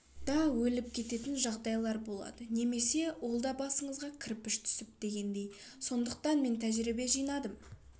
да өліп кететін жағдайлар болады немесе олда басыңызға кірпіш түсіп дегендей сондықтан мен тәжірибе жинадым